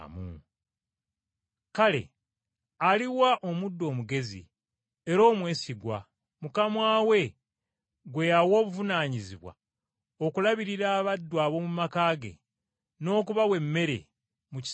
“Kale aliwa omuddu omugezi era omwesigwa mukama we gwe yawa obuvunaanyizibwa okulabirira abaddu ab’omu maka ge, n’okubawa emmere mu kiseera ekituufu?